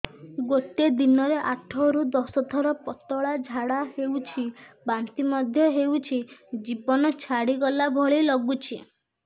ଗୋଟେ ଦିନରେ ଆଠ ରୁ ଦଶ ଥର ପତଳା ଝାଡା ହେଉଛି ବାନ୍ତି ମଧ୍ୟ ହେଉଛି ଜୀବନ ଛାଡିଗଲା ଭଳି ଲଗୁଛି